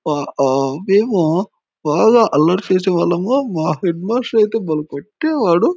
ఆ ఓ మేము బాగా అల్లరి చేసే వాళ్ళము. మా హెడ్ మాస్టర్ అయితే భలే కొట్టేవాడు.